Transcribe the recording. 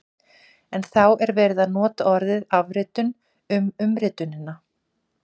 En þá er verið að nota orðið afritun um umritunina!